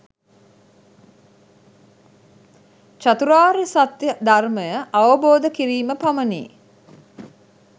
චතුරාර්ය සත්‍ය ධර්මය අවබෝධ කිරීම පමණි.